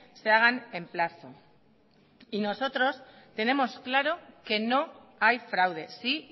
se hagan en plazo y nosotros tenemos claro que no hay fraude sí